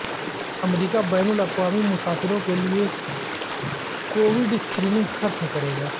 امریکہ بین الاقوامی مسافروں کیلئے کووڈ اسکریننگ ختم کرے گا